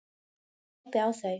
Ég glápi á þau.